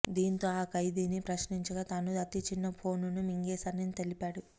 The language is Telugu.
దీంతో ఆ ఖైదీని ప్రశ్నించగా తాను అతిచిన్న ఫోనును మింగేశానని తెలిపాడు